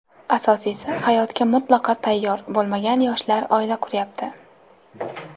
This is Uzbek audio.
Asosiysi hayotga mutlaqo tayyor bo‘lmagan yoshlar oila quryapti.